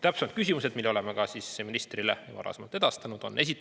Täpsemad küsimused, mille oleme ministrile varasemalt edastanud, on järgmised.